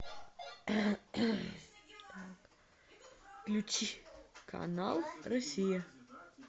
включи канал россия